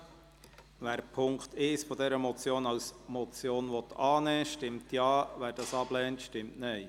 Wer den Punkt 1 dieser Motion als Motion annehmen will, stimmt Ja, wer dies ablehnt, stimmt Nein.